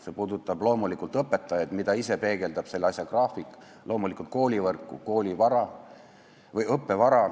See puudutab loomulikult õpetajaid, mida peegeldab ka see graafik, samuti koolivõrku ja õppevara